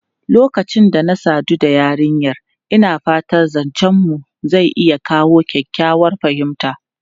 Lokacin da na sadu da yarinyar, ina fata zancenmu zai iya kawo kyakkyawar fahimta.